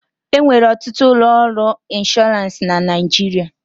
E nwere ọtụtụ ụlọ ọrụ ịnshọransị na Naịjirịa.